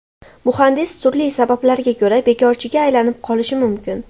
Muhandis turli sabablarga ko‘ra bekorchiga aylanib qolishi mumkin.